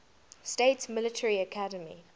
states military academy